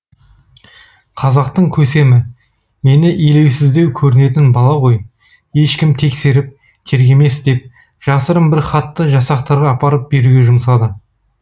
қазақтың көсемі мені елеусіздеу көрінетін бала ғой ешкім тексеріп тергемес деп жасырын бір хатты жасақтарға апарып беруге жұмсады